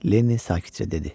Lenny sakitcə dedi.